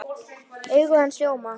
Augu hans ljóma.